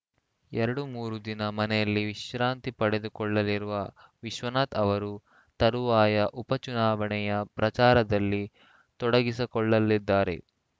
ಎರಡು ಮೂರು ದಿನ ಮನೆಯಲ್ಲಿ ವಿಶ್ರಾಂತಿ ಪಡೆದುಕೊಳ್ಳಲಿರುವ ವಿಶ್ವನಾಥ್‌ ಅವರು ತರುವಾಯ ಉಪಚುನಾವಣೆಯ ಪ್ರಚಾರದಲ್ಲಿ ತೊಡಗಿಸಿಕೊಳ್ಳಲಿದ್ದಾರೆ